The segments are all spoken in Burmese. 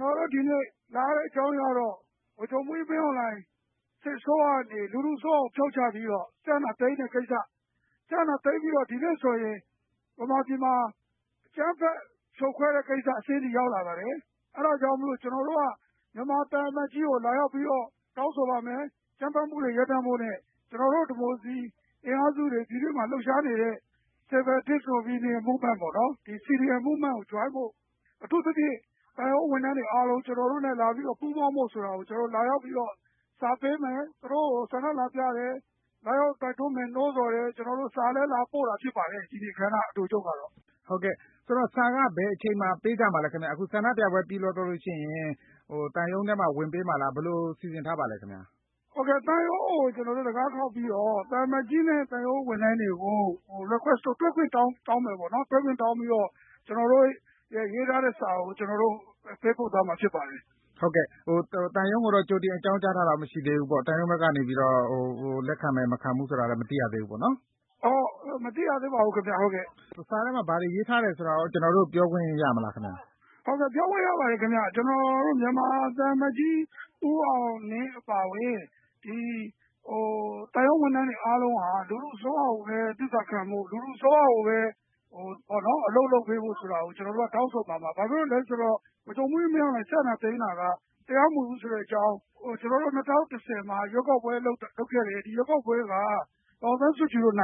နော်တို့ဒီနေ့ လာရတဲ့ အကြောင်းအရင်းကတော့ ဗိုလ်ချုပ်မှူးကြီး မင်းအောင်လှိုင် စစ်အစိုးရကနေ လူထုအစိုးရကို ဖြုတ်ချပြီးတော့ စစ်အာဏာသိမ်းတဲ့ကိစ္စ ၊ စစ်အာဏာသိမ်းပြီးတော့ ဒီနေ့ဆိုရင် မြန်မာပြည်မှာ အကြမ်းဖက် ဖြိုခွဲတဲ့ကိစ္စအဆင့်အထိ ရောက်လာပါတယ်။ အဲဒါကြောင့်မို့ ကျနော်တို့က မြန်မာသံအမတ်ကြီးကို လာရောက်ပြီးတော့ တောင်းဆိုပါမယ်။ အကြမ်းဖက်မှုတွေ ရပ်တန့်ဖို့နဲ့ ကျနော်တို့ ဒီမိုကရေစီ အင်အားစုတွေ ပြည်တွင်းမှာ လှုပ်ရှားနေတဲ့ Civil Disobedience Movement ကို ပူးပေါင်းဖို့ ၊ အထူးသဖြင့် သံရုံးဝန်ထမ်းတွေ ကျနေ်ာတို့နဲ့ လာပြီးတော့ ပူးပေါင်းဖို့ဆိုတာကို ကျနော်တို့ လာရောက်ပြီးတော့ စာပေးမယ် ၊ သူတို့ကို ဆန္ဒလာပြတယ်၊ လာရောက်တိုက်တွန်းမယ် နိုးဆော်တယ်၊ စာလည်း လာပို့တာဖြစ်ပါတယ်။ ဒီနေ့အခမ်းအနား အတိုချုပ်ကတော့။ ဟုတ်ကဲ့ စာက ဘယ်အချိန်မှာ ပေးကြမှာလဲခင်ဗျ အခုဆန္ဒပြပွဲ ပြီးသွားရင် သံရုံးထဲမှာ ဝင်ပေးမှာလား ဘယ်လိုစီစဉ်ထားပါသလဲခင်ဗျ။ ဟုတ်ကဲ့ သံရုံးကို တံခါးခေါက်ပြီးတော့ သံအမတ်ကြီးတဲ့ သံရုံးဝန်ထမ်းတွေကိုရော တွေ့ခွင့်တောင်းမယ်ပေါ့နော်။ တွေ့ခွင့်တောင်းပြီးတော့ ကျနော်တို့ ရေးထားတဲ့ စာကို ကျနော်တို့ ပေးပို့သွားမှာ ဖြစ်ပါတယ်။ ဟုတ်ကဲ့ သံရုံးကိုတော့ ကြိုတင်အကြောင်းကြားထားတာ မရှိသေးဘူးပေါ့ ။ သံရုံးဘက်ကနေ လက်ခံမယ်၊ မခံဘူးဆိုတာ မသိရသေးဘူးပေါ့နော်။ မသိရသေးပါဘူးခင်ဗျ။ စာထဲမှာ ဘယ်လိုရေးထားတယ်ဆိုတာရော ကျနော်တို့ကို ပြောခွင့်ရမလားဆရာ။ ဟုတ်ကဲ့ ပြောခွင့်ရပါတယ်ခင်ဗျ။ ကျနော်တို့ မြန်မာသံအမတ်ကြီး ဦးအောင်လင်းအပါအဝင် သံရုံးဝန်ထမ်းတွေအားလုံးက လူထုအစိုးရကိုပဲ သစ္စာခံဖို့၊ လူထုကိုပဲ အလုပ်လုပ်ပေးဖို့ဆိုတာကို ကျနော်တို့ တောင်းဆိုမှာပါ။ ဘာကြောင့်လဲဆိုတော့ ဗိုလ်ချုပ်မှူးကြီး မင်းအောင်လှိုင် စစ်အာဏာသိမ်းတာက တရားမဝင်ဘူးဆိုတဲ့အကြောင်း ၊ ၂၀၂၀ မှာ ရွေးကောက်ပွဲ လုပ်ခဲ့တယ် ။ ဒီရွေးကောက်ပွဲက ဒေါ်အောင်ဆန်းစုကြည်တို့ အ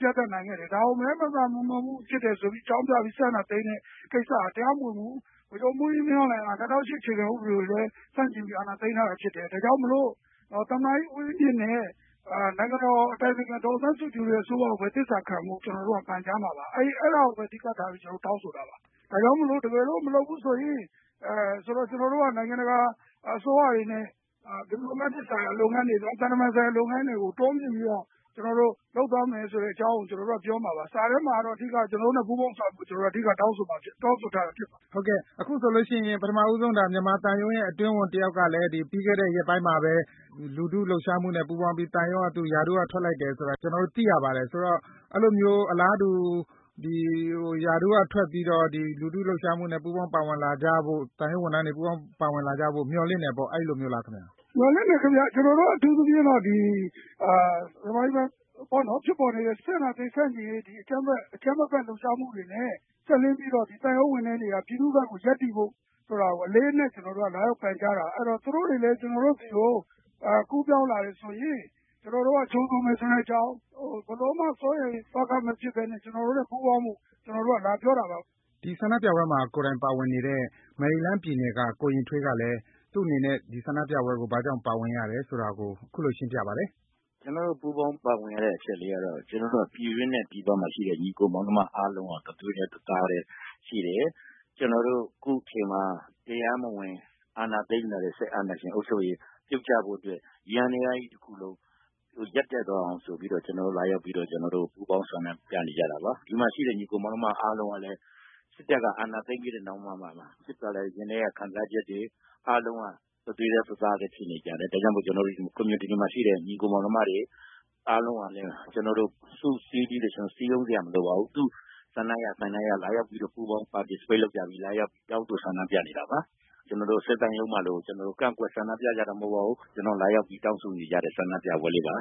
ပြတ်အသတ် နိုင်ခဲ့တယ်။ ဒါကို မဲ မသမာမှုဖြစ်တယ်ဆိုတာအကြောင်းပြပြီး စစ်အာဏာသိမ်းတဲ့ကိစ္စက တရားမဝင်ဘူး။ ဗိုလ်ချုပ်မှူးကြီး မင်းအောင်လှိုင်က ၂၀၀၈ အခြေခံဥပဒေကိုလည်း ဆန့်ကျင်ပြီး အာဏာသိမ်းခဲ့တာဖြစ်တယ်။ ဒါကြောင့်မို့ သမ္မတဦးဝင်းမြင့်နဲ့ နိုင်ငံတော်အတိုင်ပင်ခံ ဒေါ်အောင်ဆန်းစုကြည်တို့ အစိုးရကိုပဲ သစ္စာခံဖို့ ကျနော်တို့ ပန်ကြားမှာပါ။ အဲဒါကို အဓိကထားပြီး ကျနော်တို့ တောင်းဆိုတာပါ။ ဒါကြောင့်မို့လို့ တကယ်လို့ မလုပ်ဘူးဆိုရင် ကျနော်တို့က နိုင်ငံတကာ အစိုးရတွေနဲ့ သံတမန်ဆိုင်ရာလုပ်ငန်းတွေကို တိုးမြှင့်ပြီးတော့ လုပ်သွားမယ်ဆိုတဲ့အကြောင်းကို ပြောမှာပါ။ စာထဲမှာတော့ အဓိကတော့ ကျနော်တို့နဲ့ ပူးပေါင်းဆောင်ရွက်ဖို့ တောင်းဆိုထားတာ ဖြစ်ပါတယ်။ ဟုတ်ကဲ့ အခုဆိုရင် ဒါပထမဦးဆုံး မြန်မာသံရုံးရဲ့ အတွင်းဝန်တယောက်ကလည်း ပြီးခဲ့တဲ့ ရက်ပိုင်းမှာပဲ လူထုလှုပ်ရှားမှုနဲ့ ပူးပေါင်းပြီး ရာထူးက ထွက်လိုက်တယ်ဆိုတာ ကျနော်တို့ သိရပါတယ်။ ဆိုတော့ အဲလိုမျိုး အလားတူ ရာထူးကထွက်ပြီးတော့ လူထုလှုပ်ရှားမှုမှာ သံရုံးဝန်ထမ်းတွေ ပူးပေါင်းပါဝင်လာကြဖို့ မျှော်လင့်တယ်ပေါ့ အဲလိုမျိုးလားခင်ဗျ။ မျှော်လင့်တယ်ခင်ဗျ ကျနော်တို့ကတော့ အထူးသဖြင့်တော့ မြန်မာပြည်မှာ ဖြစ်ပေါ်နေတဲ့ စစ်အာဏာသိမ်း ဆန့်ကျင်ရေး အကြမ်းမဖက် လှုပ်ရှားမှုတွေနဲ့ စပ်လျဉ်းပြီးတော့ သံရုံးဝန်ထမ်းတွေက ပြည်သူ့ဘက်ကို ရပ်တည်ဖို့ အလေးအနက် လာရောက်ပန်ကြားတာ။ အဲဒီတော့ သူတို့တွေလည်း ကျနော်တို့ဆီကို ကူးပေါင်းလာတယ်ဆိုရင် ကျနော်တို့က ကြိုဆိုမယ်ဆိုတဲ့အကြောင်း ၊ ဘယ်လိုမှ စိုးရိမ်သောက မဖြစ်ပဲနဲ့ ကျနော်တို့နဲ့ ပူးပေါင်းဖို့ လာပြောတာပါခင်ဗျ။ ကျနော်တို့ပူးပေါင်းပါဝင်ရတဲ့ အချက်ကတော့ ကျနော်တို့က ပြည်တွင်းနဲ့ ပြည်ပမှာရှိတဲ့ ညီအကိုမောင်နှမ အားလုံးက တသွေးတည်း ၊ တသားတည်း ရှိတယ်။ ကျနော်တို့ အခုအချိန်မှာ တရားမဝင် အာဏာသိမ်းလာတဲ့ စစ်အာဏာရှင်အုပ်ချုပ်ရေး ပြုတ်ကျဖို့အတွက် ယန္တရားကြီးတခုလုံး ရပ်တန့်သွားအောင်ဆိုပြီးတော့ကျနော်တို့ လာရောက်ပြီးတော့ ပူးပေါင်းဆောင်ရွက်ကြတာပါ ။ ဒီမှာရှိတဲ့ ညီအကို မောင်နှမတွေ အားလုံးကလ်ညး စစ်တပ်က အာဏာသိမ်းပြီးတဲ့နောက်မှာ ရင်ထဲက ခံစားချက်တွေ အားလုံးက တသွေးတည်း တသားတည်း ဖြစ်နေကြတယ်။ ဒါကြောင့်မို့ community မှာရှိတဲ့ ညီအကို မောင်နှမတွေ အားလုံးကလည်း ကျနော်တို့ စုစည်းပြီးတော့ ကျနော်တို့ စည်းရုံးစရာမလိုပါဘူး။ သူတို့လာရောက်ပြီးတော့ ပူးပေါင်း participate လုပ်ကြပြီး လာရောက်တောင်းဆို ဆန္ဒပြနေတာပါ။ ကျနော်တို့ စစ်သံရုံးမှာလို လာပြီးတော့ ကန့်ကွက်ဆန္ဒပြကြတာ မဟုတ်ပါဘူး။ ကျနော်တို့ လာရောက်ပြီးတောင်းဆိုနေကြတဲ့ ဆန္ဒပြပွဲလေးပါ